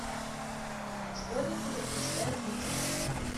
школьницы предпочитают викингов